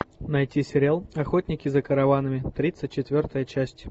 найти сериал охотники за караванами тридцать четвертая часть